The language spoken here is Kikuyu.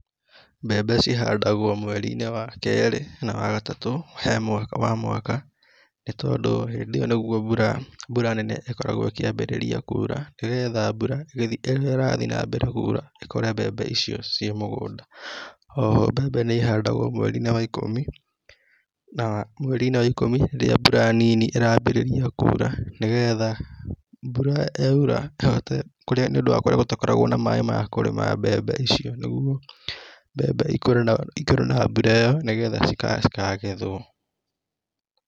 Mbebe cī handagwa mwerī-inī wakerī na wagatatū he mwaka wa mwaka nī tondū hīndīo nīguo mbura mbura nene ikoraguo īkiaambariia kuura nīgetha mbūra rīrīa īra thīe na mbere kuura ikore mbembe īcīo cīe mūgunda. Oho mbembe nī īhandagwa mwerī-inī wa īkumi na mwerī -inĩ wa īkumī rīrīa mbura nini īraambererīa kuura nīgetha mbura ya ura īhote nīūndū wa kūorīa gūtakoragwo na maaī makūrīma mbembe īcīo nīguo mbembe īkoree na mbūra īyo nīgetha cī kangethwo